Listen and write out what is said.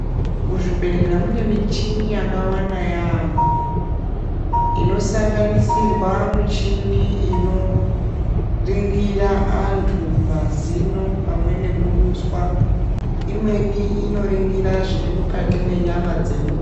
Muzvibhehlera mune michini yakawanda yaamho ,inosanganisirwa michini inoringira anhu mazino pamwe nekuduswa, imweni inoringira zvirimukati mwenyama dzemunhu...